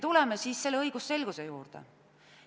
Tuleme õigusselguse juurde.